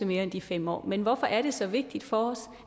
mere end de fem år men hvorfor er det så vigtigt for os